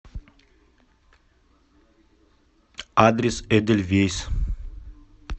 адрес эдельвейс